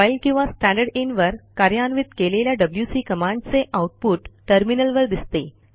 file किंवा standard in वर कार्यान्वित केलेल्या wcकमांडचे आऊटपुट टर्मिनलवर दिसते